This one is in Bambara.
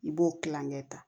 I b'o kilanŋɛ ta